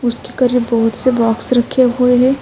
اسکے کریب بھوت سے باکس رکھے ہوئے ہے۔